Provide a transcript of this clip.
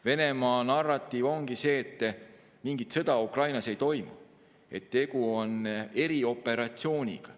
Venemaa narratiiv ongi see, et mingit sõda Ukrainas ei toimu, tegu on erioperatsiooniga.